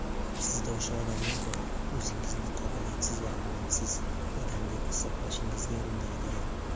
Sizda o‘sha odamlar bor - o‘zingizni "qobiliyatsiz va omadsiz" odam deb hisoblashingizga undaydigan.